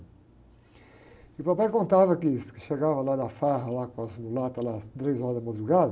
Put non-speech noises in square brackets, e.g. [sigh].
E o papai contava que, que chegava lá na farra, lá, com as, [unintelligible] lá, às três horas da madrugada,